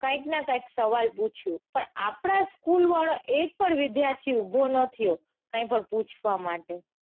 કાઇંક ના કાઇંક સવાલ પૂછ્યું પણ આપડા school વાળો એક પણ વિદ્યાર્થી ઉભો ના થયો કાંઈ પણ પૂછવા માટે.